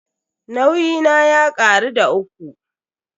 Nauyi na ya karu da uku.